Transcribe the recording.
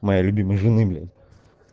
моей любимой жены блять